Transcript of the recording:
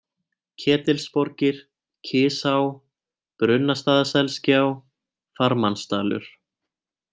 Ketilsborgir, Kisá, Brunnastaðaselsgjá, Farmannsdalur